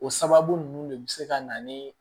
O sababu nunnu de bi se ka na ni